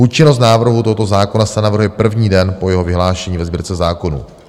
Účinnost návrhu tohoto zákona se navrhuje první den po jeho vyhlášení ve Sbírce zákonů.